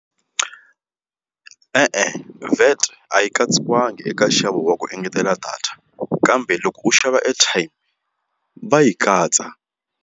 E-e, VAT a yi katsiwanga eka nxavo wa ku engetela data kambe loko u xava airtime va yi katsa.